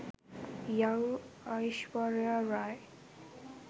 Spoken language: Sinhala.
young aishwarya rai